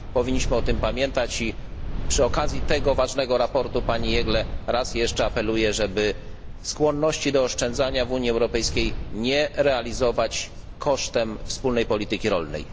Powinniśmy o tym pamiętać i przy okazji tego ważnego sprawozdania pani Jeggle raz jeszcze apeluję, żeby skłonności do oszczędzania w Unii Europejskiej nie realizować kosztem wspólnej polityki rolnej.